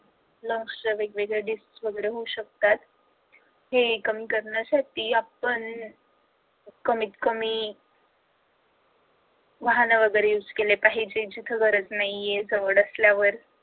lungs ला वेगवेगळ्या disease वगैरे होऊ शकतात. हे कमी करण्यासाठी आपण कमीत कमी वाहने वगैरे युज केले पाहिजे जिथे गरज नाहीये जवळ असल्यावर